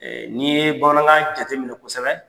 N'i ye bamanankan jate minɛ kosɛbɛ